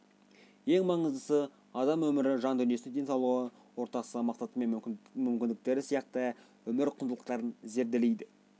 ең маңыздысы адам өмірі жан дүниесі денсаулығы ортасы мақсаты мен мүмкіндіктері сияқты өмір құндылықтарын зерделейді